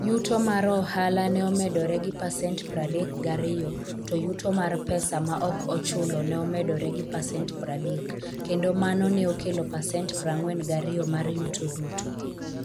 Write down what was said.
Yuto mar ohala ne omedore gi pasent 32 to yuto mar pesa ma ok ochulo ne omedore gi pasent 30 kendo mano ne okelo pasent 42 mar yuto duto.